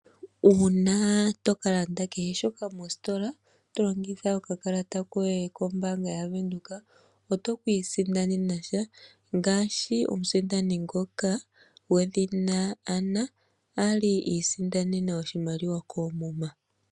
Uuna to kala kehe shoka mositola to longitha okakalata kombaanga yaVenduka oto kii sindanenasha ngaashi omusindani ngoka gwe dhina Anna ali isindanena oshimaliwa koomuma.